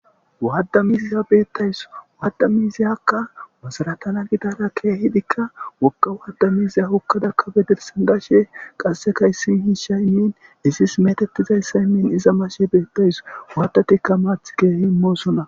Waaddamiiziya beettays waaddamiiziyakka wasaratana gidara keehidikka wokka waadda miiziya hokkadakkabe dirsan gashe qasse kayssin hiishay imin izis metettizayssa immin iza mashe beettays waadatikka maath keehi moosona.